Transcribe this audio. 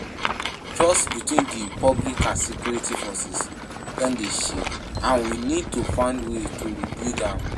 Trust between di public and security forces don dey shake, and we need to find way to rebuild am.